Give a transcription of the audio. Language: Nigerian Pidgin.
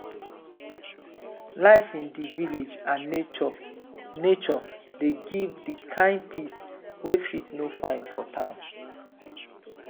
life in di village and nature nature dey give di kind peace wey fit no find for town.